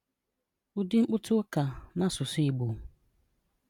Ụdị Mkpụta ụka Na Asụsụ Igbo: